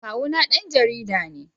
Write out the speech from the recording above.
Kawuna dan jarida ne.